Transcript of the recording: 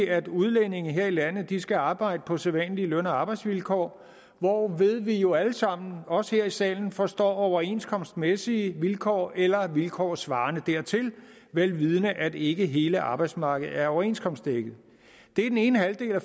at udlændinge her i landet skal arbejde på sædvanlige løn og arbejdsvilkår hvorved vi jo alle sammen os her i salen forstår overenskomstmæssige vilkår eller vilkår svarende dertil vel vidende at ikke hele arbejdsmarkedet er overenskomstdækket det er den ene halvdel af